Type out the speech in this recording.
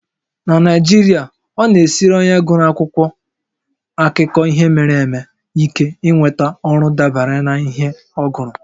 Na Naijiria, ọ na-esiri onye gụrụ akwụkwọ akụkọ ihe mere eme ike inweta ọrụ dabere n'ihe ọ gụrụ